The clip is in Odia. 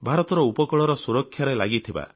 ଭାରତର ଉପକୂଳରେ ସୁରକ୍ଷାରେ ଲାଗିଛନ୍ତି